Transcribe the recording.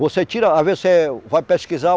Você tira... Às vezes você vai pesquisar.